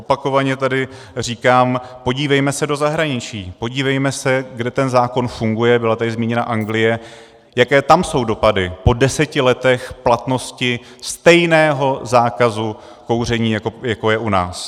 Opakovaně tady říkám, podívejme se do zahraničí, podívejme se, kde ten zákon funguje, byla tady zmíněna Anglie, jaké tam jsou dopady po deseti letech platnosti stejného zákazu kouření, jako je u nás.